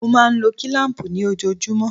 Mo máa ń lo kílám̀pù ni ojoojúmọ́.